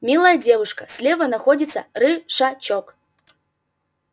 милая девушка слева находится рышачок